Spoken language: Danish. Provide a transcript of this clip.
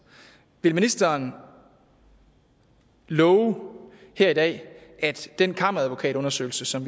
vil ministeren love her i dag at den kammeradvokatundersøgelse som